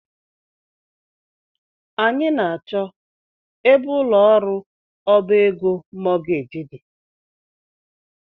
Anyị na -achọ ebe ụlọ ọrụ ọbá égo mọọgeeji dị.